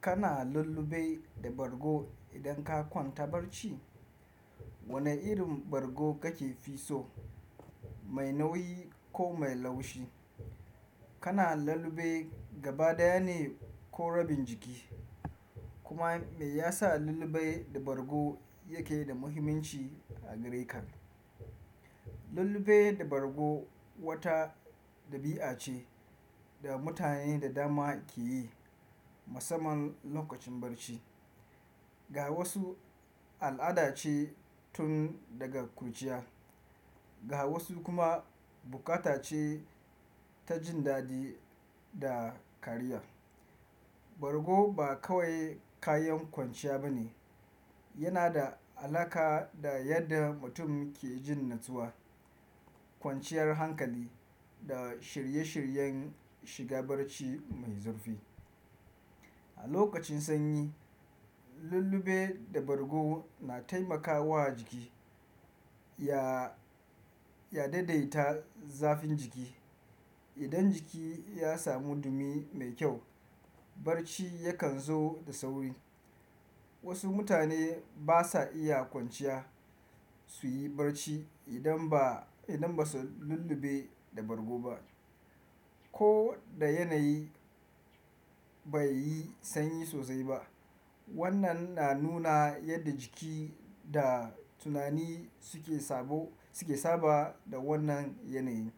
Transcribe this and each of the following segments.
Kana lullube da bargo idan ka kwanta barci? Wane irin bargo kake fi so, mai nauyi ko mai laushi? Kana lullube gaba ɗaya ne ko rabin jiki? Kuma me yasa lullube da bargo yake da muhimmanci a gare ka? Lullube da bargo wata ɗabi'a ce da mutane da dama ke yi musamman lokacin barci. Ga wasu al'ada ce tun daga kurjiya, ga wasu kuma bukata ce ta jin daɗi da kariya. Bargo ba kawai kayan kwanciya ba ne. Yana da alaƙa da yadda mutum ke jin natsuwa, kwanciyar hankali da shirye-shiryen shiga barci mai zurfi. A lokacin sanyi, lullube da bargo na taimakawa jiki ya, ya daidaita zafin jiki. Idan jiki ya samu dumi mai kyau, barci yakan zo da sauri. Wasu mutane ba sa iya kwanciya su yi barci idan ba, idan ba su lullube da bargo ba. Ko da yanayi bai yi sanyi sosai ba, wannan na nuna yadda jiki da tunani suke saba, suke saba da wannan yanayi.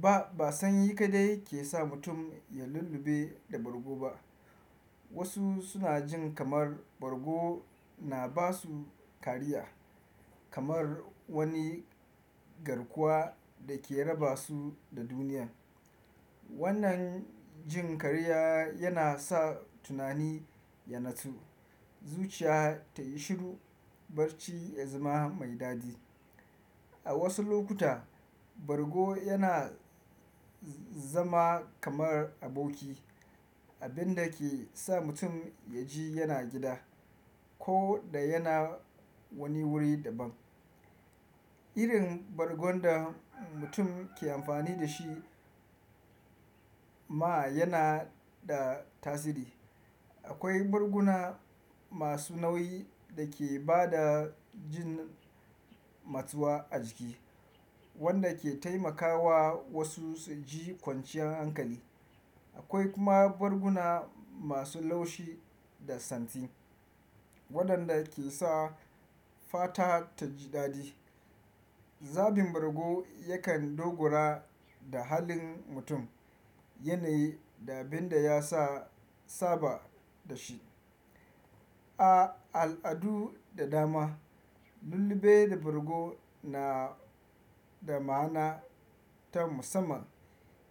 Ba, ba sanyi kaɗai ke sa mutum ya lullube da bargo ba. Wasu suna jin kamar bargo na ba su kariya, kamar wani garkuwa da ke raba su da duniyar. Wannan jin kariya yana sa tunani ya natsu, zuciya ta yi shiru, barci ya zama mai daɗi. A wasu lokuta, bargo yana zama kamar aboki, abin da ke sa mutum ya ji yana gida ko da yana wani wuri daban. Irin bargon da mutum ke amfani da shi ma yana da tasiri. Akwai barguna masu nauyi da ke ba da jin matsuwa a jiki, wanda ke taimakawa wasu su ji kwanciyar hankali. Akwai kuma barguna masu laushi da santi, waɗanda ke sa fata ta ji daɗi. Zafin bargo yakan dogara da halin mutum, yanayi da abin da ya sa saba da shi. A al'adu da dama, lullube da bargo na da ma'ana ta musamman.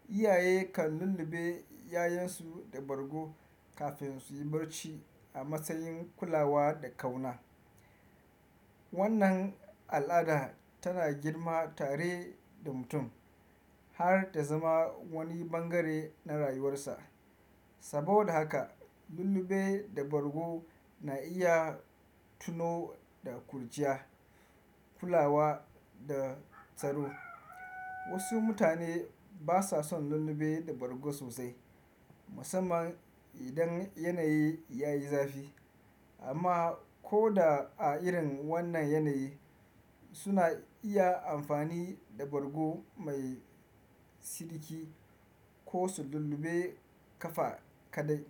Iyaye kan lullube 'ya'yansu da bargo kafin su yi barci a matsayin kulawa da ƙauna. Wannan al'ada tana girma tare da mutum har ta zama wani bangare na rayuwarsa. Saboda haka lullube da bargo na iya tuno da kurjiya, kulawa da tsaro. Wasu mutane ba sa son lullube da bargo sosai, musamman idan yanayi ya yi zafi. Amma ko a irin wannan yanayi, suna iya amfani da bargo mai siriki ko su lullube kafa kaɗai.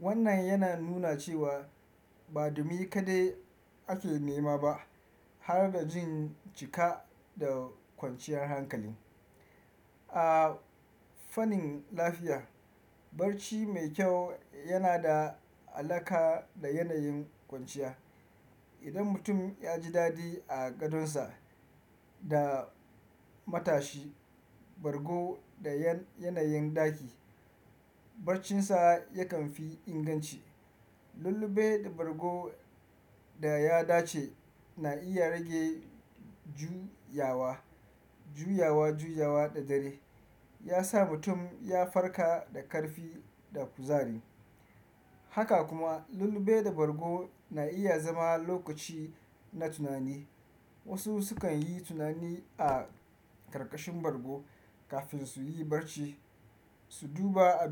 Wannan yana nuna cewa ba dumi kaɗai ake nema ba har da jin cika da kwanciyar hankali. A fannin lafiya, barci mai kyau yana da alaƙa da yanayin kwanciya. Idan mutum ya ji daɗi a gadonsa da matashi, bargo da yanayin ɗaki, barcinsa yakan fi inganci. Lullube da bargo da ya dace na iya rage juyawa, juyawa, juyawa da dare, ya sa mutum ya farka da ƙarfi da kuzari. Haka kuma lullube da bargo na iya zama lokaci na tunani. Wasu sukan yi tunani a ƙarƙashin bargo kafin su yi barci, su duba abubuwa.